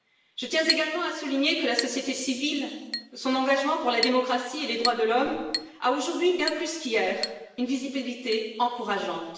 Je tiens également à souligner que la société civile et son engagement pour la démocratie et les droits de l'homme ont aujourd'hui, bien plus qu'hier, une visibilité encourageante.